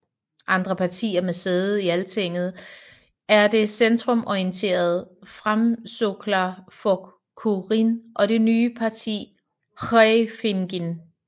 Andre partier med sæde i Altinget er det centrumorienterede Framsóknarflokkurinn og det nye parti Hreyfingin